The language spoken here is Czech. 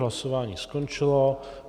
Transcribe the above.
Hlasování skončilo.